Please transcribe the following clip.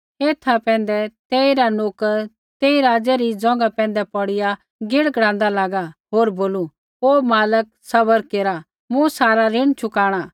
ऐथा पैंधै तेइरा नोकर तेई राज़ै री ज़ोंघा पैंधै पौड़िया गिड़गिड़ाँदा लागा होर बोलू हे मालक सब्र केरा मूँ सारा ऋण चुकाणा